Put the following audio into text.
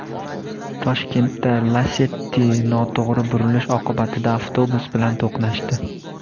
Toshkentda Lacetti noto‘g‘ri burilish oqibatida avtobus bilan to‘qnashdi.